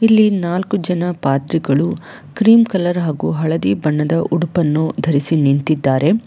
ಇಲ್ಲಿ ನಾಲ್ಕು ಜನ ಪಾದ್ರಿಗಳು ಕ್ರೀಮ್ ಕಲರ್ ಹಾಗು ಹಳದಿ ಬಣ್ಣದ ಉಡುಪನ್ನು ಧರಿಸಿ ನಿಂತಿದ್ದಾರೆ.